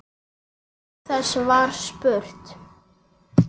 Auk þess var spurt